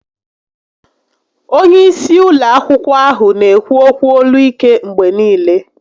Onye isi ụlọ akwụkwọ ahụ n'ekwu ókwú olu ike mgbe niile